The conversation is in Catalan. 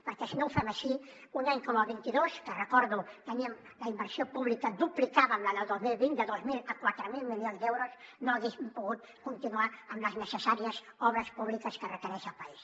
perquè si no ho fem així un any com el vint dos que ho recordo teníem la inversió pública duplicada amb la del dos mil vint de dos mil a quatre mil milions d’euros no haguéssim pogut continuar amb les necessàries obres públiques que requereix el país